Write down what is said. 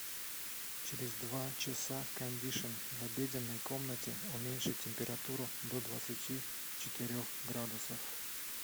через два часа кондишн в обеденной комнате уменьши температуру до двадцати четырех градусов